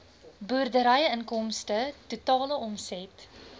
boerderyinkomste totale omset